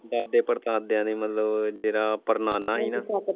ਦਾਦੇ ਪੜਦਾਦਿਆਂ ਦੇ ਮਤਲਬ ਜਿਹੜਾ ਪੜਨਾਨਾ ਸੀ ਨਾ।